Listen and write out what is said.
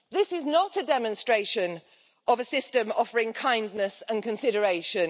This is not a demonstration of a system offering kindness and consideration.